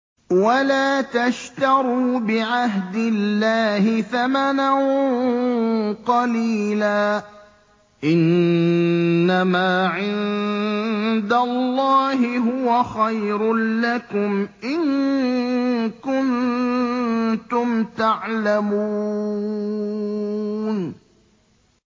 وَلَا تَشْتَرُوا بِعَهْدِ اللَّهِ ثَمَنًا قَلِيلًا ۚ إِنَّمَا عِندَ اللَّهِ هُوَ خَيْرٌ لَّكُمْ إِن كُنتُمْ تَعْلَمُونَ